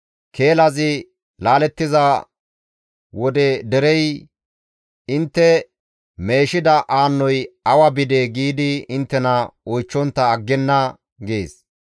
Keelazi laalettiza wode derey, ‹Intte meeshida aannoy awa bidee?› giidi inttena oychchontta aggenna» gees.